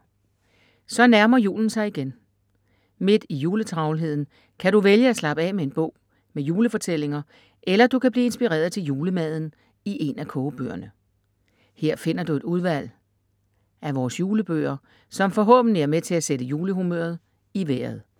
Så nærmer julen sig igen. Midt i juletravlheden kan du vælge at slappe af med en bog med julefortællinger eller du kan blive inspireret til julemaden i en af kogebøgerne. Her finder du et udvalg af vores julebøger som forhåbentlig er med til at sætte julehumøret i vejret.